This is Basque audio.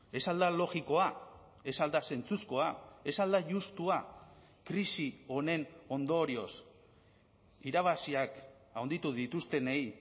ez al da logikoa ez al da zentzuzkoa ez al da justua krisi honen ondorioz irabaziak handitu dituztenei